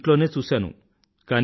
ఈ ఇంట్లోనే చూశాను